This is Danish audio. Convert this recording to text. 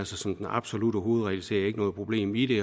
som den absolutte hovedregel ser jeg ikke noget problem i